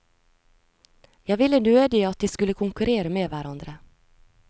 Jeg ville nødig at de skulle konkurrere med hverandre.